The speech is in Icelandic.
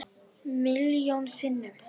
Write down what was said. Milljón sinnum.